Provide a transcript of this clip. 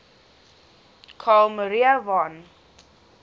carl maria von